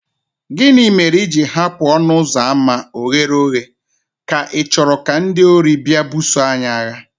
Gịnị mere i ji hapụ ọnụ ụzọ ámá oghere oghe, ka ichoro ka ndị ori bịa buso anyị agha?